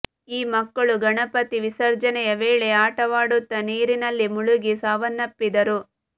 ಈ ಮಕ್ಕಳು ಗಣಪತಿ ವಿಸರ್ಜನೆಯ ವೇಳೆ ಆಟವಾಡುತ್ತಾ ನೀರಿನಲ್ಲಿ ಮುಳುಗಿ ಸಾವನ್ನಪ್ಪಿದ್ದರು